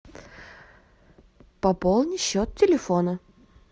пополни счет телефона